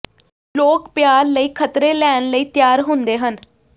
ਲੋਕ ਪਿਆਰ ਲਈ ਖ਼ਤਰੇ ਲੈਣ ਲਈ ਤਿਆਰ ਹੁੰਦੇ ਹਨ